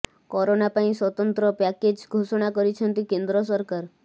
corona ପାଇଁ ସ୍ବତନ୍ତ୍ର package ଘୋଷଣା କରିଛନ୍ତି କେନ୍ଦ୍ର ସରକାର